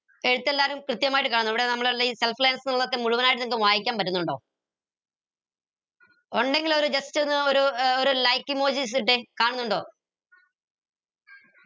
എഴുത്തല്ലാരും കൃത്യമായിട്ട് ഇവിടെ നമ്മൾ മുഴുവനായിട്ട് നിങ്ങക്ക് വായിക്കാൻ പറ്റിന്നിണ്ടോ ഒണ്ടെങ്കില് ഒരു just ഒന്ന് ഒരു ഒരു like emojis ഇട്ടേ കാണുന്നുണ്ടോ